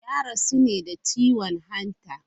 Ya rasu ne da ciwon hanta.